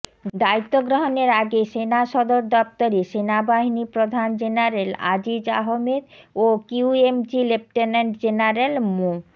দায়িত্ব গ্রহণের আগে সেনাসদর দপ্তরে সেনাবাহিনী প্রধান জেনারেল আজিজ আহমেদ ও কিউএমজি লেফটেন্যান্ট জেনারেল মো